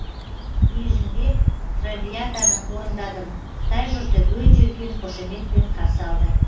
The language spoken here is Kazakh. бейжіңде травиатаны орындадым қытай жұрты өте үлкен қошеметпен қарсы алды